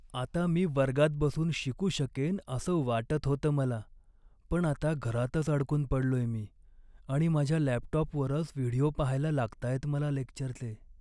आता मी वर्गात बसून शिकू शकेन असं वाटत होतं मला, पण आता घरातच अडकून पडलोय मी आणि माझ्या लॅपटॉपवरच व्हिडिओ पाहायला लागताहेत मला लेक्चरचे.